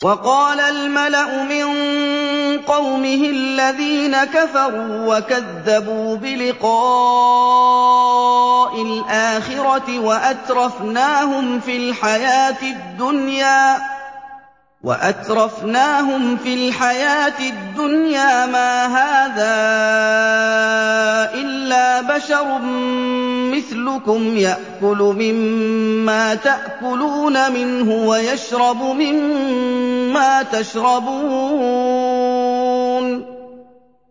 وَقَالَ الْمَلَأُ مِن قَوْمِهِ الَّذِينَ كَفَرُوا وَكَذَّبُوا بِلِقَاءِ الْآخِرَةِ وَأَتْرَفْنَاهُمْ فِي الْحَيَاةِ الدُّنْيَا مَا هَٰذَا إِلَّا بَشَرٌ مِّثْلُكُمْ يَأْكُلُ مِمَّا تَأْكُلُونَ مِنْهُ وَيَشْرَبُ مِمَّا تَشْرَبُونَ